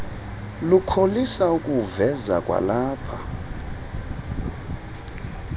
lukholisa ukuwuveza kwalapha